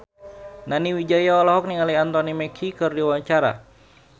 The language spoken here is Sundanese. Nani Wijaya olohok ningali Anthony Mackie keur diwawancara